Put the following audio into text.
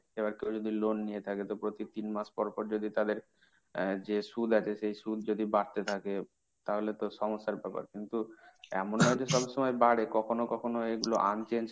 এবার কেউ যদি loan নিয়ে থাকে তো প্রতি তিন মাস পরপর যদি তাদের যে সুদ আছে, সেই সুদ যদি তাদের বাড়তে থাকে, তাহলে তো সমস্যার ব্যাপার। কিন্তু এমন না যে সবসময় বাড়ে, কখনো কখনো এগুলো un changed